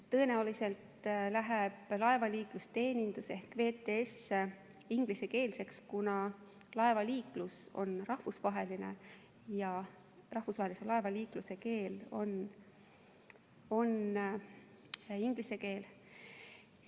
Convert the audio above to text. Tõenäoliselt läheb laevaliiklusteenindus ehk VTS ingliskeelseks, kuna laevaliiklus on rahvusvaheline ja rahvusvahelise laevaliikluse keel on inglise keel.